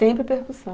Sempre percussão.